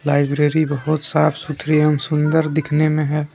Library बहुत साफ सुथरी एवं सुंदर दिखने में है।